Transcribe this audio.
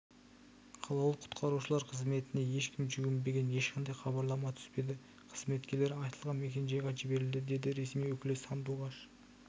қалалық құтқарушылар қызметіне ешкім жүгінбеген ешқандай хабарлама түспеді қызметкерлері айтылған мекенжайға жіберілді деді ресми өкілі сандуғаш